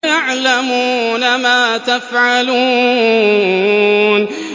يَعْلَمُونَ مَا تَفْعَلُونَ